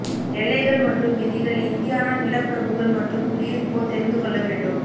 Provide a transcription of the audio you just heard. எல்லைகள் மற்றும் விதிகள் இந்தியானா நிலப்பிரபுக்கள் மற்றும் குடியிருப்போர் தெரிந்து கொள்ள வேண்டும்